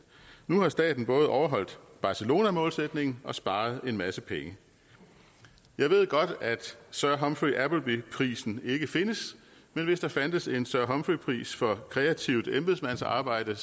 nu har staten både overholdt barcelonamålsætningen og sparet en masse penge jeg ved godt at sir humphrey prisen ikke findes men hvis der fandtes en sir humphrey pris for kreativt embedsmandsarbejde